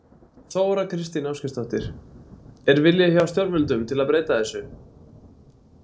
Þóra Kristín Ásgeirsdóttir: Er vilji hjá stjórnvöldum til að breyta þessu?